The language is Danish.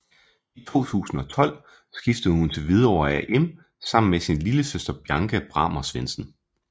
I 2012 skiftede hun til Hvidovre AM sammen med sin lillesøster Bianca Brahmer Svendsen